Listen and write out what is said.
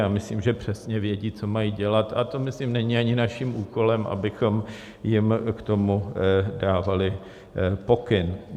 Já myslím, že přesně vědí, co mají dělat, a to myslím není ani naším úkolem, abychom jim k tomu dávali pokyn.